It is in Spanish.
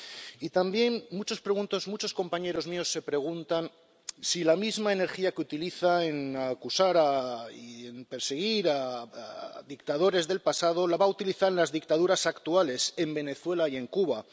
Y también muchos compañeros míos se preguntan si la misma energía que utiliza en acusar y en perseguir a dictadores del pasado, la va a utilizar en las dictaduras actuales, en Venezuela y en Cuba.